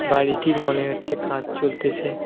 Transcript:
বাড়িটির মনে হচ্ছে কাজ চলতেসে।